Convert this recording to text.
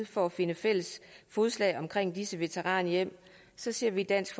for at finde fælles fodslag omkring disse veteranhjem ser vi i dansk